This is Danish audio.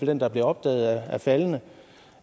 den der bliver opdaget er faldende